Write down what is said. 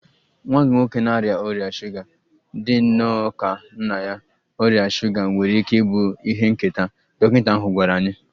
Nwa gị nwoke na-arịa ọrịa shuga dị nnọọ ka nna ya, ọrịa shuga nwere ike ịbụ ihe nketa, dọkịta ahụ gwara anyị.